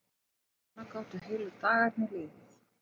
Svona gátu heilu dagarnir liðið.